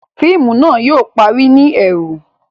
Fíìmù náà yóò parí ni ẹru